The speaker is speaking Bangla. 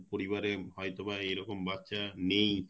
পরিবারে হয়তো বা এরকম বাচ্চা নেই